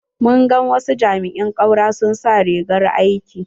Mun gan wasu jami'in ƙaura sun sa rigar aiki.